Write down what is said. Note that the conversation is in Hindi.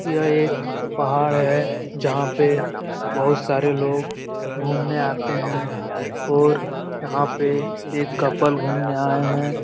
यह एक पहाड़ है जहाँ पे बहुत सारे लोग घुमने आते है और यहाँ पे एक कपल घुमने आए है ।